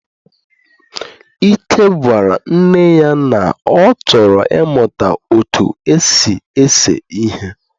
Ike gwara nne ya, na ọ chọrọ ị mụta otú esi ese ihe.